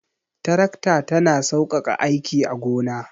Tarakta ta na saukaka aiki a gona